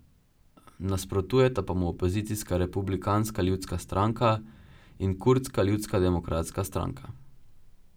Nasprotujeta pa mu opozicijska Republikanska ljudska stranka in kurdska Ljudska demokratska stranka.